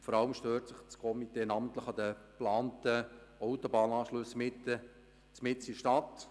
Das Komitee stört sich vor allem an den geplanten Autobahnanschlüssen mitten in der Stadt.